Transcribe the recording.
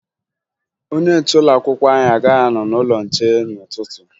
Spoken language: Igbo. Onye nche ụlọakwụkwọ anyị agaghị anọ n'ụlọnche n'ụtụtụ